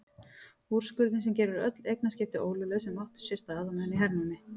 Úrskurðinn sem gerir öll eignaskipti ólögleg sem áttu sér stað meðan á hernámi